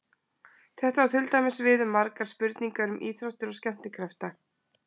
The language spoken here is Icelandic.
Þetta á til dæmis við um margar spurningar um íþróttir og skemmtikrafta.